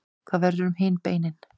hvað verður um hin beinin